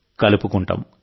కలుపుకుంటాం